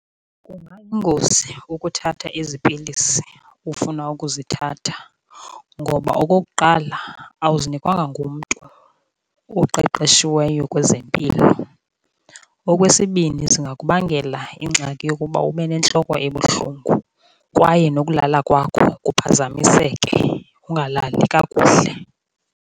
Kungayingozi ukuthatha ezi pilisi ufuna ukuzithatha ngoba okokuqala, awuzinikwanga ngumntu oqeqeshiweyo kwezempilo. Okwesibini, zingakubangela ingxaki yokuba ube nentloko ebuhlungu kwaye nokulala kwakho kuphazamiseke, ungalali kakuhle.